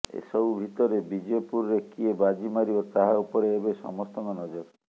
ଏସବୁ ଭିତରେ ବିଜେପୁରରେ କିଏ ବାଜି ମାରିବ ତାହା ଉପରେ ଏବେ ସମସ୍ତଙ୍କ ନଜର